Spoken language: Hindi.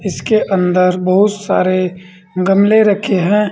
इसके अंदर बहुत सारे गमले रखे हैं।